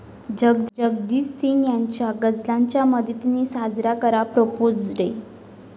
जगजीत सिंग यांच्या या गझलांच्या मदतीनं साजरा करा 'प्रपोझ डे'